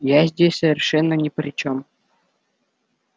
я здесь совершенно ни при чём